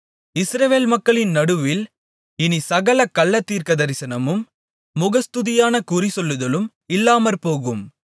இஸ்ரவேல் மக்களின் நடுவில் இனிச் சகல கள்ளத்தரிசனமும் முகஸ்துதியான குறிசொல்லுதலும் இல்லாமற்போகும்